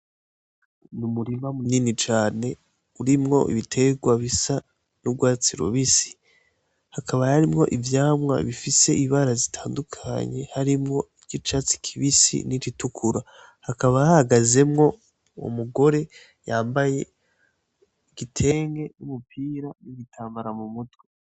N’ umurima mu nini cane urimwo ibiterwa bisa n'urwatsi rubisi hakaba harimwo ivyamwa bifise ibara zitandukanye harimwo iry' icatsi kibisi n'iritukura hakaba hahagazemwo umugore yambaye igitenge n'umupira n’igitambara mu mutwe.